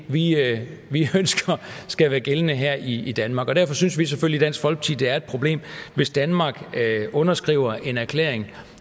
lige er det vi ønsker skal være gældende her i i danmark derfor synes vi selvfølgelig at det er et problem hvis danmark underskriver en erklæring